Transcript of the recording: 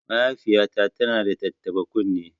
Mahaifiyata tana da tattaɓa kunne